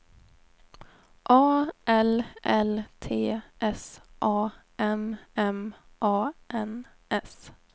A L L T S A M M A N S